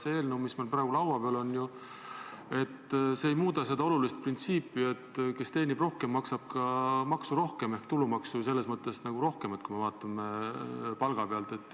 See eelnõu, mis meil praegu laua peal on, ei muuda ju seda olulist printsiipi, et kes teenib rohkem, maksab ka maksu rohkem ehk tulumaksu rohkem selles mõttes, kui me vaatame palga pealt.